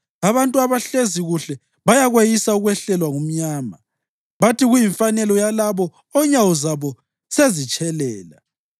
Abantu abahlezi kuhle bayakweyisa ukwehlelwa ngumnyama, bathi kuyimfanelo yalabo onyawo zabo sezitshelela.